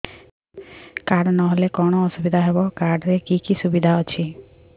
card ନହେଲେ କଣ ଅସୁବିଧା ହେବ କାର୍ଡ ରେ କି କି ସୁବିଧା ଅଛି